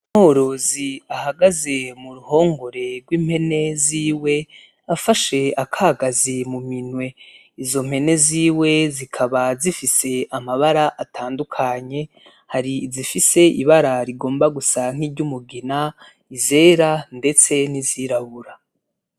Umworozi ahagaze muruhongore gw'impene ziwe afashe akagazi muminwe izo mpene ziwe zikaba zifise amabara atandukanye hari izifise ibara rigomba gusa nk'iryumugina izera ndetse n'izirabura.